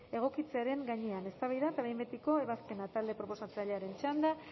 egokitzearen gainean eztabaida eta behin betiko ebazpena talde proposatzailearen txanda